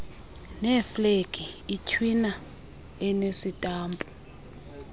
neeflegi itywina enesitampu